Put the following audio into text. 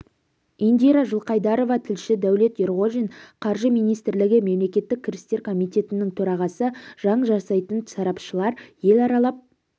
индира жылқайдарова тілші дәулет ерғожин қаржы министрлігі мемлекеттік кірістер комитетінің төрағасы заң жасайтын сарапшылар ел аралап